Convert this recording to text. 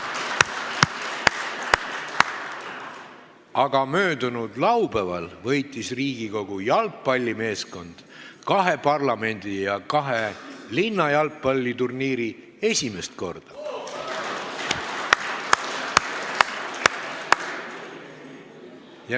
Aga möödunud laupäeval võitis Riigikogu jalgpallimeeskond esimest korda kahe parlamendi ja kahe linna jalgpalliturniiri.